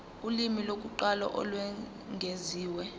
ulimi lokuqala olwengeziwe